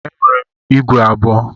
Enwere m ígwè abụọ.